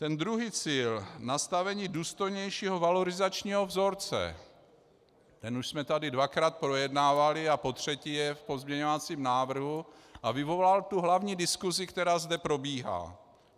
Ten druhý cíl, nastavení důstojnějšího valorizačního vzorce, ten už jsme tady dvakrát projednávali a potřetí je v pozměňovacím návrhu a vyvolal tu hlavní diskusi, která zde probíhá.